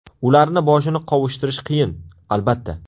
Ularni boshini qovushtirish qiyin, albatta.